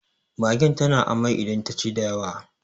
mage tana amai idan ta ci da yawa